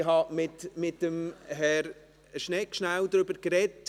Ich habe mit Herrn Schnegg kurz darüber gesprochen.